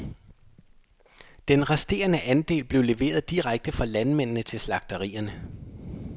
Den resterende andel blev leveret direkte fra landmændene til slagterierne.